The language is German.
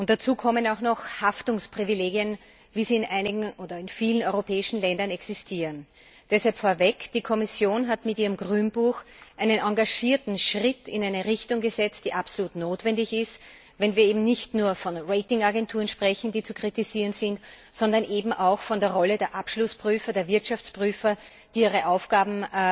Dazu kommen auch noch Haftungsprivilegien, wie sie in vielen europäischen Ländern existieren. Deshalb vorweg Die Kommission hat mit ihrem Grünbuch einen engagierten Schritt in eine Richtung gesetzt, die absolut notwendig ist, wenn wir eben nicht nur von Rating Agenturen sprechen, die zu kritisieren sind, sondern auch von der Rolle der Abschlussprüfer, der Wirtschaftsprüfer, die ihre Aufgaben